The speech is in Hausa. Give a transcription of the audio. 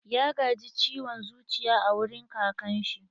Ya gaji ciwon zuciya a wurin kakan shi.